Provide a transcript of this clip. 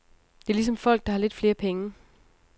Det er ligesom folk, der har lidt flere penge.